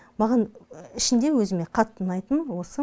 маған ішінде өзіме қатты ұнайтыны осы